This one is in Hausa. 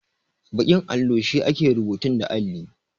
Baƙin allo shine ake rubutun da alli.